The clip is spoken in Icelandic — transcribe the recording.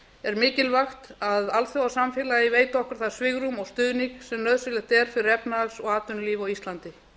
er mikilvægt að alþjóðasamfélagið veiti okkur það svigrúm og stuðning sem nauðsynlegt er fyrir efnahags og atvinnulíf á íslandi